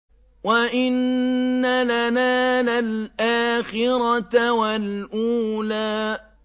وَإِنَّ لَنَا لَلْآخِرَةَ وَالْأُولَىٰ